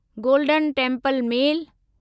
golden temple mail